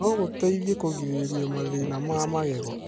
no gũteithie kũgirĩrĩria mathĩna ma magego.